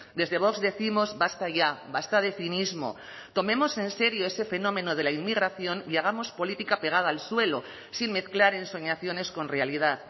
desde vox décimos basta ya basta de cinismo tomemos en serio ese fenómeno de la inmigración y hagamos política pegada al suelo sin mezclar ensoñaciones con realidad